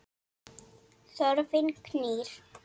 Þörfin knýr.